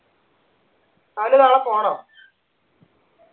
അവന് നാളെ പോണോ